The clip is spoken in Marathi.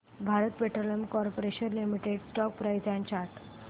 Bharat petroleum corporation limited stock price and chart